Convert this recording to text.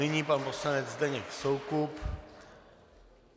Nyní pan poslanec Zdeněk Soukup.